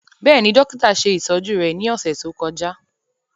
Bẹ́ẹ̀ni, dokita ṣe itọju rẹ ni ọsẹ to kọja.